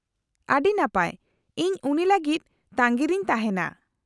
-ᱟᱰᱤ ᱱᱟᱯᱟᱭ , ᱤᱧ ᱩᱱᱤ ᱞᱟᱜᱤᱫ ᱛᱟᱸᱜᱤᱨᱤᱧ ᱛᱟᱦᱮᱱᱟ ᱾